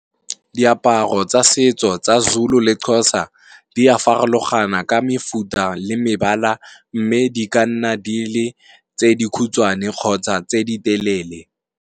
Diaparo tsa setso tsa Zulu le Xhosa, di a farologana ka mefuta le mebala, mme di ka nna di le tse dikhutswane kgotsa tse di telele.